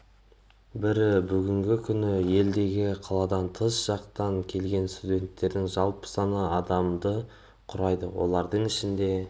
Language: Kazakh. бірі бүгінгі күні елдегі қаладан тыс жақтан келген студенттердің жалпы саны адамды құрайды олардың ішінде